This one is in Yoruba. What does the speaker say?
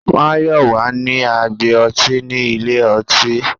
Mayọwa ni agbé ọ̀tí ní ilẹ̀-ọ̀tí